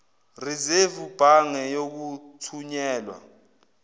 risevu bhange yokuthunyelwa